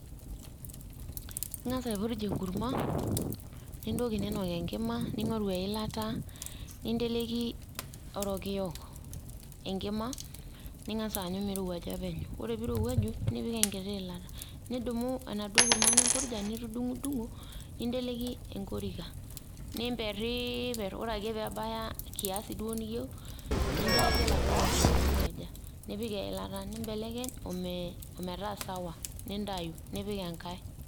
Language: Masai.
ing'as aipurj enkurma, nintoki ninok enkima, ning'oru eilata, ninteleki orokiyo enkima, ning'as aanyu mirowuaja penyo, ore pee irowuaju, nipik enkiti iilata, nidumu enaduoo kurma nimpurja ,nitudung'udung'o, ninteleki enkorika, nimperiper, ore ake pee ebaya kiasi duo niyieu, ninteleki oladuo rokiyo loirowuaja. nipik eilata. nibekeny o metaa sawa nintayu, nipik enkae.